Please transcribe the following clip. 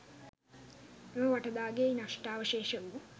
එම වටදාගෙයි නෂ්ඨාවශේෂ වූ